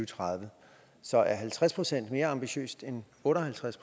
tredive så er halvtreds procent mere ambitiøst end otte og halvtreds